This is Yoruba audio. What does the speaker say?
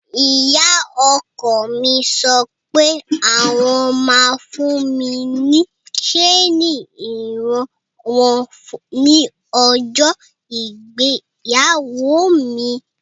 Ìyá ọkọ mi sọ pé àwọn ma fún mi ní ṣeni ìran wọn ní ọjọ́ ìgbéyàwó mi.